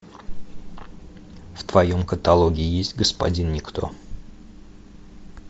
в твоем каталоге есть господин никто